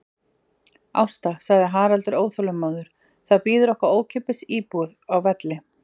Ásta, sagði Haraldur óþolinmóður, það bíður okkar ókeypis íbúð úti á Velli.